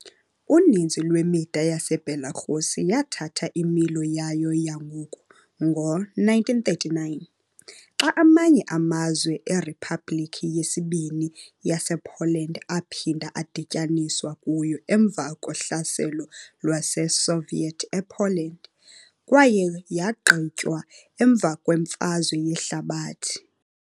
Uninzi lwemida yaseBelarus yathatha imilo yayo yangoku ngo-1939, xa amanye amazwe eRiphabhlikhi yesiBini yasePoland aphinda adityaniswa kuyo emva kohlaselo lwaseSoviet ePoland, kwaye yagqitywa emva kweMfazwe Yehlabathi.